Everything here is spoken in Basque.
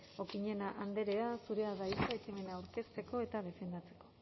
okiñena andrea zurea da hitza ekimena aurkezteko eta defendatzeko